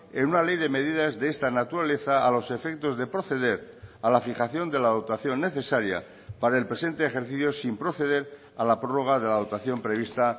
en una ley de medidas de esta naturaleza a los efectos de proceder a la fijación de la dotación necesaria para el presente ejercicio sin proceder a la prórroga de la dotación prevista